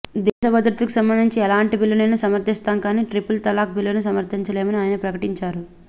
దేశ భద్రతకు సంబంధించిన ఎలాంటి బిల్లునైనా సమర్థిస్తాం కానీ త్రిపుల్ తలాక్ బిల్లును సమర్థించలేమని ఆయన ప్రకటించారు